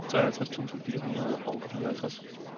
treoghalvtreds tusind fire hundrede og fireoghalvtreds